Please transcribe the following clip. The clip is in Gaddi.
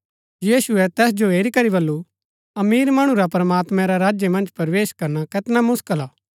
यीशुऐ तैस जो हेरी करी बल्लू अमीर मणु रा प्रमात्मां रै राज्य मन्ज प्रवेश करना कैतना मुसकल हा